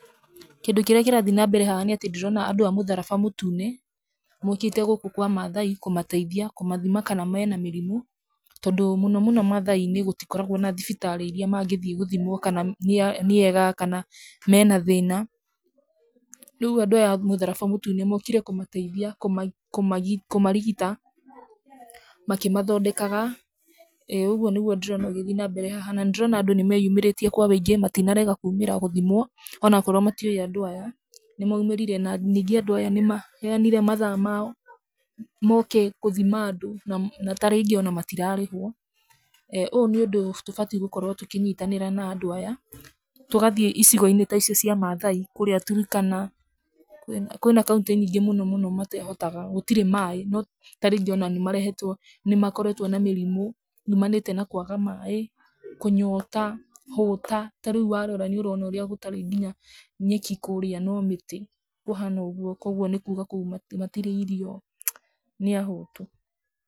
Kĩndũ kĩrĩa kĩrathi nambere haha nĩ atĩ ndĩrona andũ a mũtharaba mũtune maũkĩte gũkũ kwa maathai kũmateithia, kũmathima kana mena mĩrimũ. Tondũ mũnomũno maathai-inĩ gũtikoragwo na thibitarĩ iria mangĩthiĩ gũthimwo kana nĩega, kana mena thĩna. Rĩu andũ aya a mũtharaba mũtune maũkire kũmateithia, kũmarigita, makĩmathondekaga. ĩ, ũguo nĩguo ndĩrona gũgĩthiĩ nambere haha, na nĩ ndĩrona andũ nĩ meeyumĩrĩtie kwa wũingĩ, matinarega kuumĩra gũthimwo o na okorwo maiũĩ andũ aya, nĩ maumĩrire. Na ningĩ andũ aya nĩ maheanire mathaa mao maũke gũthima andũ na ta rĩngĩ o na matirarĩhwo. Ũyũ nĩ ũndũ tubatiĩ gũkorwo tũkĩnyitanĩra na andũ aya, tũgathiĩ icigo-inĩ ta icio cia maathai, kũrĩa Turkana, kwĩna kaũntĩ nyingĩ mũno mũno mateehotaga. Gũtirĩ maaĩ, no, ta rĩngĩ o na nĩ marehetwo nĩ makoretwo na mĩrimũ yuumanĩte na kũaga maaĩ, kũnyota, hũta, ta rĩu warora nĩ ũrona ũrĩa gũtarĩ nginya nyeki kũrĩa no mĩtĩ, kũhana ũguo. Kwoguo, nĩ kuuga kũu matirĩ irio, nĩ ahũtu.